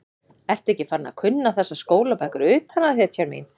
Ertu ekki farin að kunna þessar skólabækur utan að, hetjan mín?